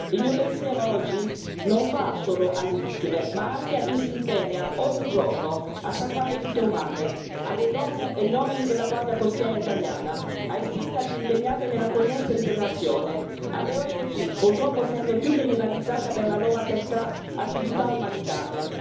Il mio pensiero oggi non va solo alle vittime, ma anche a chi si impegna, ogni giorno, a salvare vite umane, alle donne e agli uomini della Guardia Costiera italiana, ai sindaci impegnati nell'accoglienza e integrazione, alle ONG, purtroppo sempre più criminalizzate per la loro attività umanitaria.